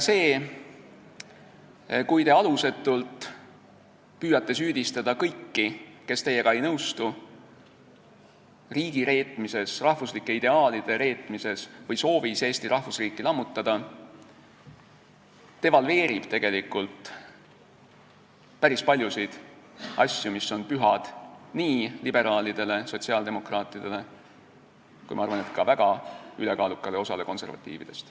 See, kui te alusetult püüate süüdistada kõiki, kes teiega ei nõustu, riigireetmises, rahvuslike ideaalide reetmises või soovis Eesti rahvusriiki lammutada, devalveerib tegelikult päris paljusid asju, mis on pühad nii liberaalidele, sotsiaaldemokraatidele kui, ma arvan, ka ülekaalukale osale konservatiividest.